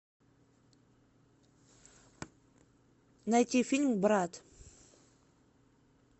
найти фильм брат